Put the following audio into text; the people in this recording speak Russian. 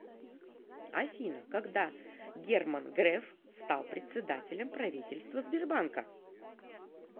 афина когда герман греф стал председателем правительства сбербанка